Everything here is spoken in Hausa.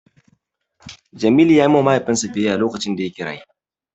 Jamilu ya yi ma Mahaifinsa biyayya lokacin da yake raye.